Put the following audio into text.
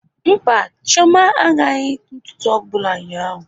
Mba, Chioma agaghị ntụtu ọbụla ụnyaahụ